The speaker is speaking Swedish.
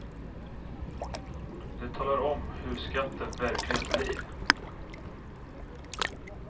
Det talar om hur skatten verkligen blir.